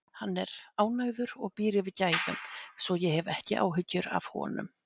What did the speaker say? Hann er ánægður og býr yfir gæðum, svo ég hef ekki áhyggjur af honum.